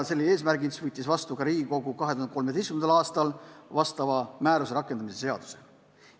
Sellel eesmärgil võttis ka Riigikogu 2013. aastal vastu vastava määruse rakendamise seaduse.